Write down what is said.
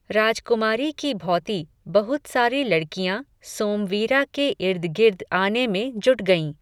राजकुमारी की भॉति, बहुत सारी लड़कियाँ, सोमवीरा के ईर्दगिर्द आने में जुट गयीं